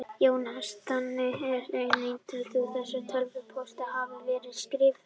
Jóhannes: Þannig að þú neitar því að þessi tölvupóstur hafi verið skrifaður?